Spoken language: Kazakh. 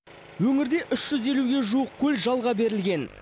өңірде ге жуық көл жалға берілген